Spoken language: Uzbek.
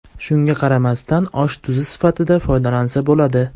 Shunga qaramasdan osh tuzi sifatida foydalansa bo‘ladi.